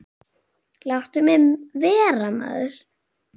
Láttu mig vera maður.